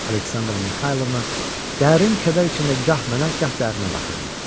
Aleksandra Mixaylovna dərin kədər içində gah mənə, gah Dərinə baxırdı.